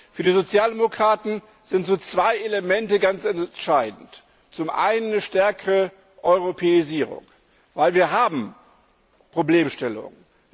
Für die Sozialdemokraten sind zwei Elemente ganz entscheidend zum einen eine stärkere Europäisierung, denn wir haben Problemstellungen.